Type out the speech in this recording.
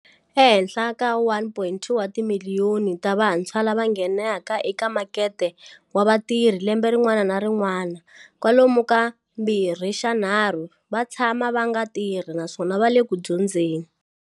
Ehenhla ka 1.2 wa timiliyoni ta vantshwa lava nghenaka eka makete wa vatirhi lembe rin'wana na rin'wana, kwalomu ka mbirhixanharhu va tshama va nga tirhi naswona a va le ku dyondzeni.